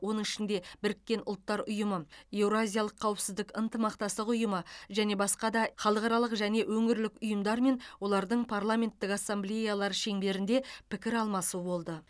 оның ішінде бұұ еқыұ және басқа да халықаралық және өңірлік ұйымдар мен олардың парламенттік ассамблеялары шеңберінде пікір алмасу болды